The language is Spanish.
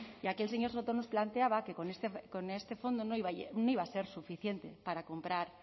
y aquí el señor soto nos planteaba que con este fondo no iba a ser suficiente para comprar